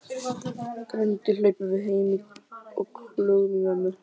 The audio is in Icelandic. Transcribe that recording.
Grenjandi hlaupum við heim og klögum í mömmu.